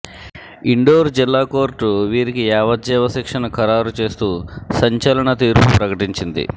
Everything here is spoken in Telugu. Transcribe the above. ఇండోర్ జిల్లా కోర్టు వీరికి యావజ్జీవ శిక్షను ఖరారు చేస్తూ సంచలన తీర్పు ప్రకటించింది